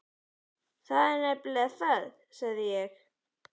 Það er nefnilega það, sagði ég.